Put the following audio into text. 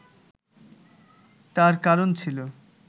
তার কারণ ছিল